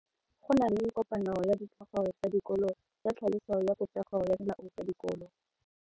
Go na le kopano ya ditlhogo tsa dikolo ya tlhaloso ya popego ya melao ya dikolo.